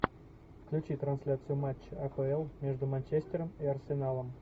включи трансляцию матча апл между манчестером и арсеналом